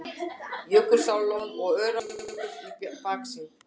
Jökulsárlón og Öræfajökull í baksýn.